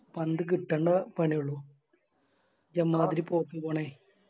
പന്ത് കിട്ടണ്ട പണിയൊള്ളു എമ്മാതിരി പോക്ക് പോണേ